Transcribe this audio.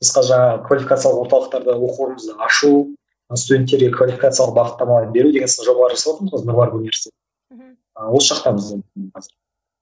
біз қазір жаңа квалификациялық орталықтарда оқу орнымызды ашу студенттерге квалификациялық бағыттамалар беру деген сынды жобалар жасаватырмыз ғой нұр мубарак университеті мхм осы жақта біздің қазір